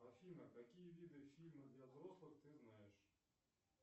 афина какие виды фильмов для взрослых ты знаешь